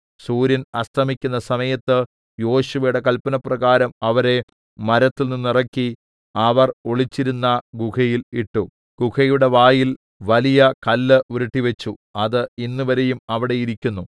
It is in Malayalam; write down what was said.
സൂര്യൻ അസ്തമിക്കുന്ന സമയത്ത് യോശുവയുടെ കല്പനപ്രകാരം അവരെ മരത്തിൽനിന്ന് ഇറക്കി അവർ ഒളിച്ചിരുന്ന ഗുഹയിൽ ഇട്ടു ഗുഹയുടെ വായിൽ വലിയ കല്ല് ഉരുട്ടിവച്ചു അത് ഇന്നുവരെയും അവിടെ ഇരിക്കുന്നു